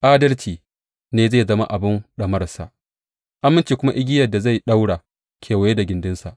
Adalci ne zai zama abin ɗamararsa aminci kuma igiyar da zai ɗaura kewaye da gindinsa.